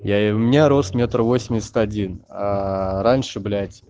я у меня рост метр восемьдесят один а раньше блять